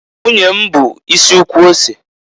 Nwunye m bu isi ukwu ose.